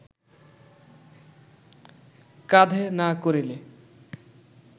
কাঁধে না করিলে